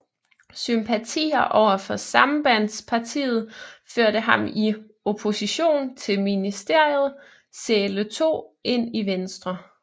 Sympatier overfor Sambandspartiet førte ham i opposition til Ministeriet Zahle II ind i Venstre